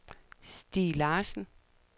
Stig Larsen